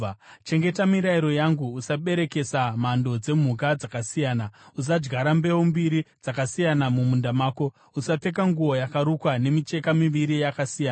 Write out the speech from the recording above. “ ‘Chengeta mirayiro yangu. “ ‘Usaberekesa mhando dzemhuka dzakasiyana. “ ‘Usadyara mbeu mbiri dzakasiyana mumunda mako. “ ‘Usapfeka nguo yakarukwa nemicheka miviri yakasiyana.